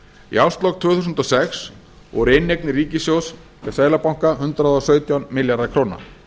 í árslok tvö þúsund og sex voru inneignir ríkissjóðs hjá seðlabanka hundrað og sautján milljarðar króna